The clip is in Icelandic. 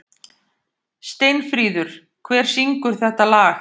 Steinfríður, hver syngur þetta lag?